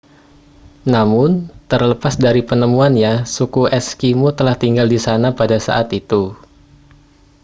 namun terlepas dari penemuannya suku eskimo telah tinggal di sana pada saat itu